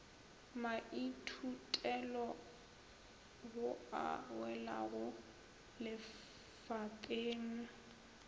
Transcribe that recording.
maithutelo ao a welago lefapeng